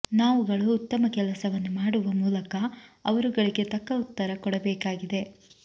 ನಾವುಗಳು ಉತ್ತಮ ಕೆಲಸವನ್ನು ಮಾಡುವ ಮೂಲಕ ಅವರುಗಳಿಗೆ ತಕ್ಕ ಉತ್ತರ ಕೊಡಬೇಕಾಗಿದೆ